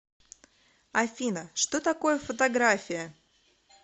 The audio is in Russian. афина что такое фотография